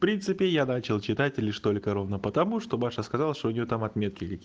в принципе я начал читать и лишь только ровно потому что маша сказала что у него там отметки каки